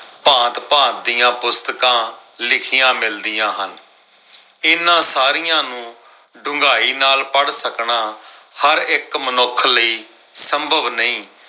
ਭਾਂਤ-ਭਾਂਤ ਦੀਆਂ ਪੁਸਤਕਾਂ ਲਿਖੀਆਂ ਮਿਲਦੀਆਂ ਹਨ। ਇਨ੍ਹਾਂ ਸਾਰੀਆਂ ਨੂੰ ਡੂੰਘਾਈ ਨਾਲ ਪੜ੍ਹ ਸਕਣਾ ਹਰ ਇੱਕ ਮਨੁੱਖ ਲਈ ਸੰਭਵ ਨਈ।